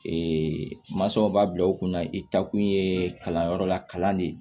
masɔn b'a bila u kunna i taa kun ye kalanyɔrɔ la kalan de ye